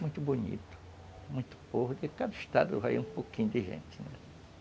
Muito bonito, muito povo, porque cada estado vai ter um pouquinho de gente, né?